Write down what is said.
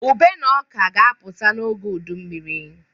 Ube na ọka ga-apụta n'oge udu mmiri.